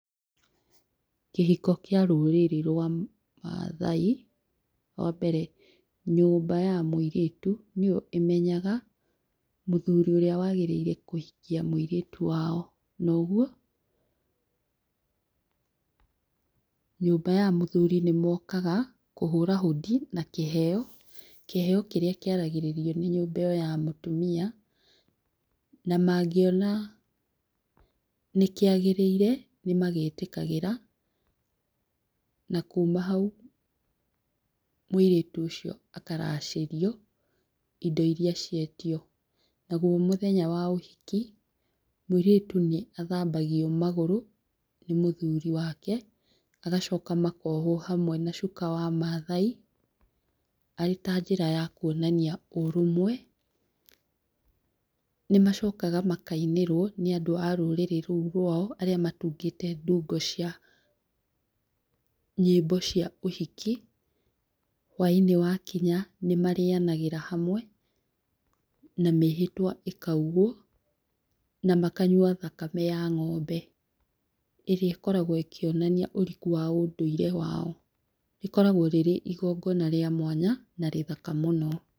Kĩhiko kĩa rũrĩrĩ rwa mathai wa mbere nyũmba ya mũirĩtu nĩyo ĩmenyaga mũthuri ũrĩa wagĩrĩire kũhikia mũirĩtu wao na ũguo nyũmba ya mũirĩtu nĩ mokaga kũhũra hondi na kĩheo, kĩheo kĩrĩa kĩaragĩrĩrio nĩ nyũmba ĩyo ya mũtumia na mangĩona nĩ kĩagĩrĩire nĩ magĩtĩkagĩra na kuma hau mũirĩtu ũcio akaracĩrio indo iria cietio naguo mũthenya wa ũhiki mũirĩtu nĩ athambagio magũrũ nĩ mũthuri wake magacoka makohwo hamwe na cuka wa mathai arĩ ta njĩra ya kwonania ũrũmwe, nĩ macokaga makainĩrwo nĩ andũ a rũrĩrĩ rũu rwao arĩa matungĩte ndungo cia nyĩmbo cia ũhiki, hwa-inĩ wa kinya nĩ marĩaganĩra na mĩhĩtwa ĩkaugwo na makanyua thakame ya ng'ombe, ĩrĩa ĩkoragwo ĩkĩonania ũriku wa ũndũire wao, rĩkoragwo rĩrĩ igongona rĩa mwanya na rĩthaka mũno.